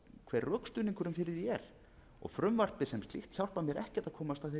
hver rökstuðningurinn fyrir því er og frumvarpið sem slíkt hjálpar mér ekkert að komast